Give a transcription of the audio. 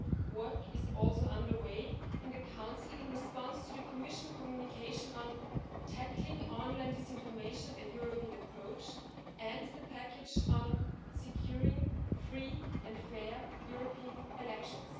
Work is also under way in the Council in response to the Commission communication on Tackling online disinformation a European approach', and the package on securing free and fair European elections.